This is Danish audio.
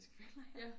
Det føler jeg